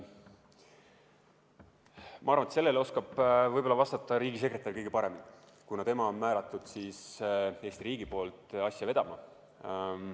Ma arvan, et sellele oskab võib-olla vastata riigisekretär kõige paremini, kuna tema on määratud Eesti riigi poolt asja vedama.